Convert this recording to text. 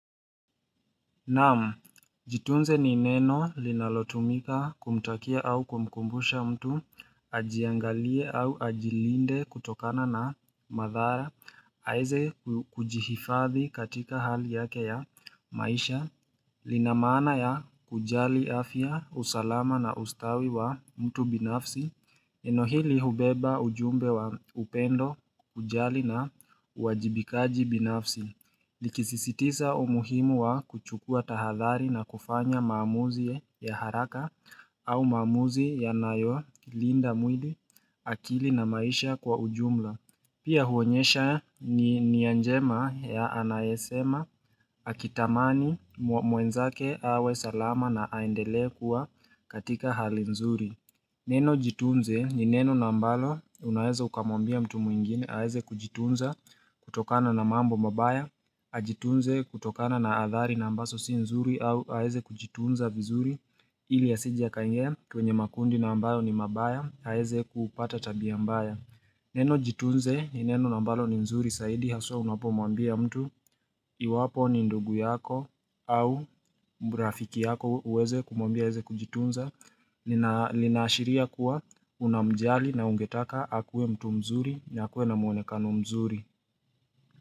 Naam, jitunze ni neno linalotumika kumtakia au kumkumbusha mtu ajiangalie au ajilinde kutokana na madhara aweze kujihifadhi katika hali yake ya maisha. Lina maana ya kujali afya, usalama na ustawi wa mtu binafsi neno hili hubeba ujumbe wa upendo, kujali na uajibikaji binafsi likisisitiza umuhimu wa kuchukua tahadhali na kufanya maamuzi ya haraka au maamuzi yanayolinda mwili, akili na maisha kwa ujumla Pia huonyesha nia njema ya anayesema akitamani mwenzake awe salama na aendelee kuwa katika hali nzuri. Neno jitunze ni neno ambalo unaweza ukamwambia mtu mwingine aweze kujitunza kutokana na mambo mabaya. Ajitunze kutokana na athari na ambazo si nzuri au aweze kujitunza vizuri ili asije akaingia kwenye makundi na ambayo ni mabaya aweze kupata tabia mbaya. Neno jitunze ni neno ambalo ni nzuri zaidi haswa unapomwambia mtu iwapo ni ndugu yako au rafiki yako uweze kumwambia aweze kujitunza linaashiria kuwa unamjali na ungetaka akuwe mtu mzuri ni akuwe na muonekano mzuri.